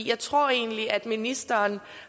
jeg tror egentlig at ministeren